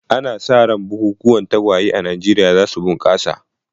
Ana sa ran bukukuwan tagwaye a Najeriya za su bunƙasa.